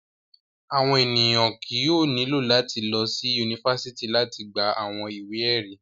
Awọn eniyan kii yóò nilo lati lọsi unifásitì lati gba awọn iwe-ẹri.